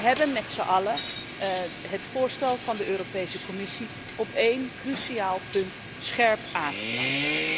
We hebben met zijn allen het voorstel van de Europese Commissie op één cruciaal punt scherp aangepast.